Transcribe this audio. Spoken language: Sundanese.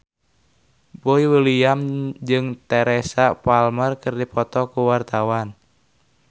Boy William jeung Teresa Palmer keur dipoto ku wartawan